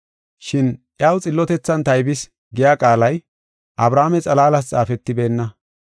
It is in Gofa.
Shin, “Iyaw xillotethan taybis” giya qaalay Abrahaame xalaalas xaafetibeenna.